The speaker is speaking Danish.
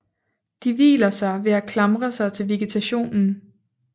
De hviler sig ved at klamre sig til vegetationen